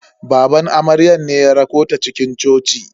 Baban amaryar ne ya rakota cikin coci.